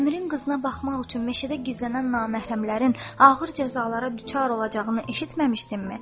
Əmirin qızına baxmaq üçün meşədə gizlənən naməhrəmlərin ağır cəzalara düçar olacağını eşitməmişdinmi?